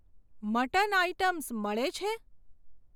Mutton items મળે છે?